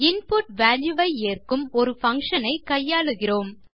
input value வை ஏற்கும் ஒரு பங்ஷன் ஐ கையாளுகிறோம்